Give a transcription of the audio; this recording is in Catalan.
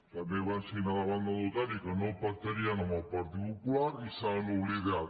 també van signar davant del notari que no pactarien amb el partit popular i se n’han oblidat